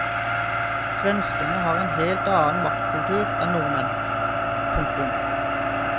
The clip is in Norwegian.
Svenskene har en helt annen matkultur enn nordmenn. punktum